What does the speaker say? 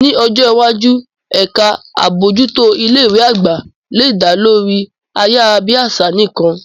Ní ọjọ́ iwájú, ẹ̀ka àbójútó ilé ìwé àgbà lè dá lórí ayárabíàṣá nìkan.